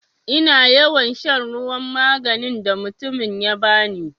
Ina yawan shan ruwan maganin da mutumin ya bani.